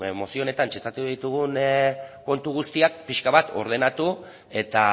mozio honetan txertatu ditugun puntu guztiak pixka bat ordenatu eta